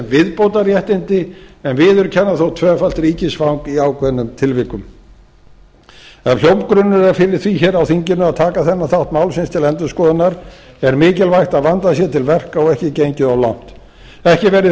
viðbótarréttindi en viðurkenna þó tvöfalt ríkisfang í ákveðnum tilvikum ef hljómgrunnur er fyrir því hér á þinginu að taka þennan þátt málsins til endurskoðunar er mikilvægt að vandað sé til verka og ekki gengið of langt ekki verði